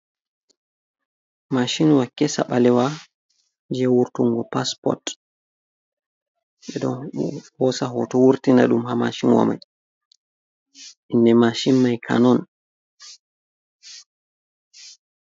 Mashin wa kesa, ɓalewa je wurtungo passport ɓe don hosa hoto wurtina ɗum ha mashin wamai. Inde mashin mai kanon.